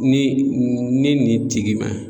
Ni ni nin tigi ma